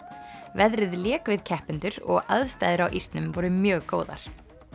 veðrið lék við keppendur og aðstæður á ísnum voru mjög góðar